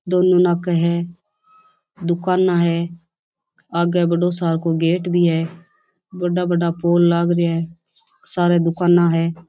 दोनों नाके है दुकाने है आगे बड़ो सा गेट भी है बड़ा बड़ा फ़ोन लागरी है सारा दुकान है।